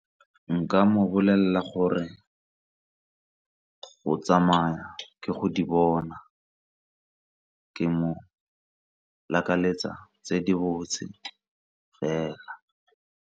Nka mo bolelela gore go tsamaya ke go di bona ka mo lakaleletsa tse di botse fela.